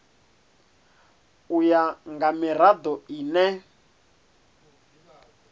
u ya nga mirado ine